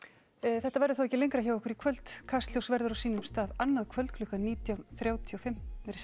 þetta verður þá ekki lengra hjá okkur í kvöld Kastljós verður á sínum stað annað kvöld klukkan nítján þrjátíu og fimm